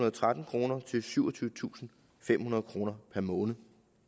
og tretten kroner til syvogtyvetusinde og femhundrede kroner per måned